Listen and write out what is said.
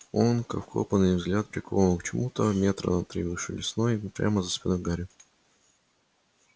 он как вкопанный взгляд прикован к чему-то метра на три выше лесной прямо за спиной гарри